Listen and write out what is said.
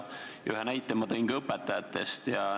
Ühe näite tõin ma ka õpetajate kohta.